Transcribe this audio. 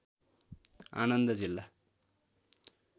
आनन्द जिल्ला